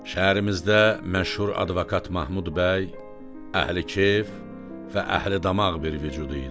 Şəhərimizdə məşhur advokat Mahmud bəy, əhli keyf və əhli damağ bir vücud idi.